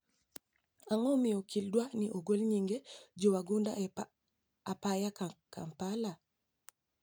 Ag`o momiyo okil dwaro ni ogol nyinge jowagunda e apaya Kampala?